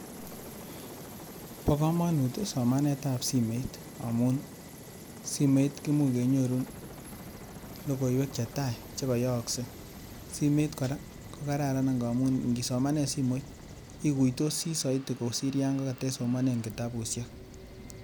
Bo komonut somanetab simet amun simet kimuch kenyorun lokoiywek chetai chekoyooksei. Simet kora, kokararan ngamun ingisomanen simoit ikuitosi soiti kosir yon katesomanen kitabushek.